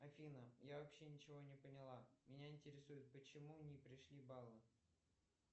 афина я вообще ничего не поняла меня интересует почему не пришли баллы